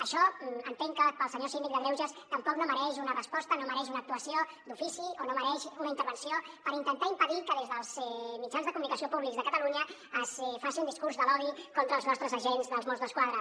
això entenc que pel senyor síndic de greuges tampoc no mereix una resposta no mereix una actuació d’ofici o no mereix una intervenció per intentar impedir que des dels mitjans de comunicació públics de catalunya es faci un discurs de l’odi contra els nostres agents dels mossos d’esquadra